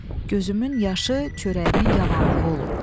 Gözümün yaşı çörəyimin yavanlığı olub.